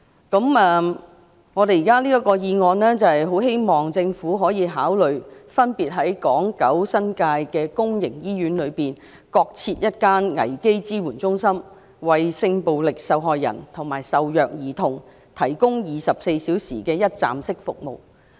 這項議案建議政府可以考慮分別在港、九、新界公營醫院內各增設一間危機支援中心，為性暴力受害人及受虐兒童提供24小時的一站式服務。